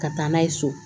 Ka taa n'a ye so